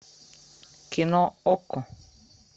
кино окко